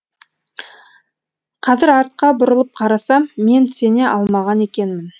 қазір артқа бұрылып қарасам мен сене алмаған екенмін